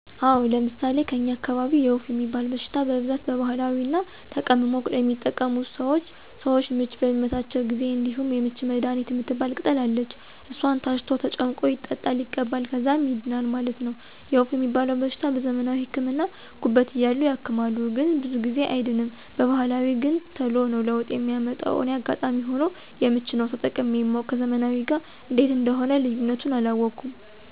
አወ፤ ለምሣሌ ከኛ አካባቢ የወፍ ሚባል በሽታ በብዛት በባህላዊ ነዉ ተቀምሞ የሚጠቀሙት ሰወች። ሰወች ምች በሚመታቸው ጊዜም እንደዚሁ የምች መድሀኒት ምትባል ቅጠል አለች እሷን ታሽቶ ተጨምቆ ይጠጣል ይቀባል ከዛም ይድናል ማለት ነው። የወፍ ሚባለዉ በሽታ በዘመናዊ ህክምና ጉበት እያሉ ያክማሉ ግን ብዙ ጊዜ አይድንም በባህላዊ ገን ተሎ ነው ለውጥ ሚያመጣ እኔ አጋጣሚ ሁኖ የምች ነው ተጠቅሜ ማውቅ ከዘመናዊው ጋር እንዴት እንደሆነ ልዩነቱን አላወኩም።